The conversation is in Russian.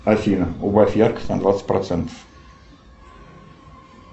афина убавь яркость на двадцать процентов